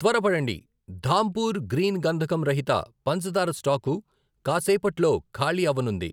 త్వరపడండి, ధాంపూర్ గ్రీన్ గంధకం రహిత పంచదార స్టాకు కాసేపట్లో ఖాళీ అవ్వనుంది.